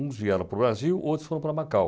Uns vieram para o Brasil, outros foram para Macau.